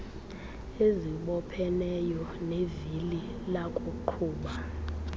ezibopheneyo zevili lakuqhuba